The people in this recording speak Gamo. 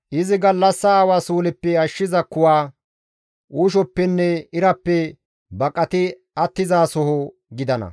Izi gallassa awa suuleppe ashshiza kuwa, uushoppenne irappe baqati attizasoho gidana.